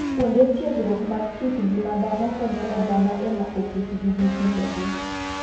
Kuonde tiegruok mag kit ng'ima dhano konyo oganda e mako kit gi gi timbe gi.